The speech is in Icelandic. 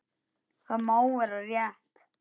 Það má vera rétt.